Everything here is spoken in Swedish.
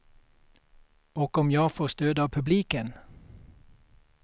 Och om jag får stöd av publiken.